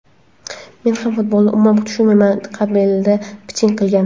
Men ham futbolni umuman tushunmayman”, qabilida piching qilgan .